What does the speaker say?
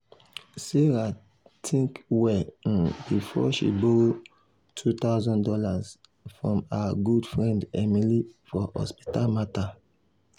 sarah um think well um before she borrow two thousand dollars from her good friend emily for hospital matter.